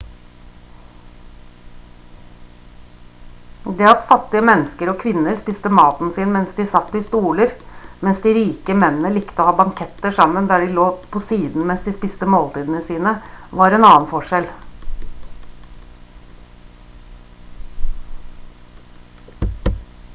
det at fattige mennesker og kvinner spiste maten sin mens de satt i stoler mens de de rike mennene likte å ha banketter sammen der de lå på siden mens de spiste måltidene sine var en annen forskjell